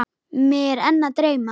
Mig er enn að dreyma.